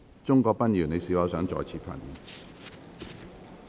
鍾國斌議員，你是否想再次發言？